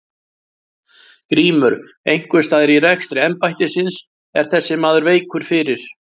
GRÍMUR: Einhvers staðar í rekstri embættisins er þessi maður veikur fyrir.